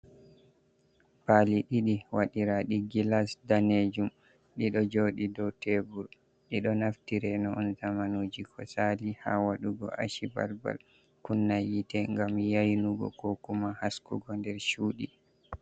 Pali ɗiɗi wadira gilas danejum, ɗiɗo joɗi dau tebur, ɗiɗo naftireno on zamanuji ko sali ha wadugo aci balbal kunna yite gam yainugo ko kuma haskugo nder cuɗi.